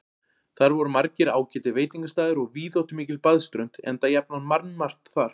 Þar voru margir ágætir veitingastaðir og víðáttumikil baðströnd, enda jafnan mannmargt þar.